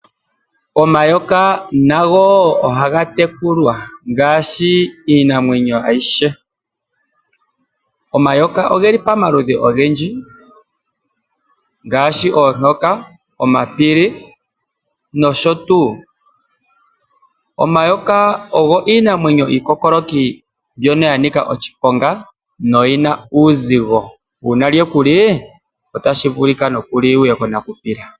Omayoka nago ohaga tekulwa ngaashi iinamwenyo ayihe. Omayoka ogeli pamaludhi ogendji ngaashi oontoka, omapili noshotuu. Omayoka ogo iinamwenyo iikokoloki ngono ganika oshiponga noyina uuzigo uuna lyekuli otashi vulika nokulinwuye konakupila.